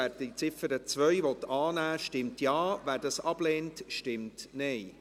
Wer diese annehmen will, stimmt Ja, wer sie ablehnt, stimmt Nein.